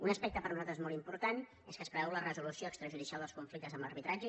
un aspecte per a nosaltres molt important és que es preveu la resolució extrajudicial dels conflictes amb arbitratge